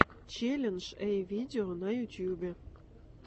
челлендж эй видео на ютубе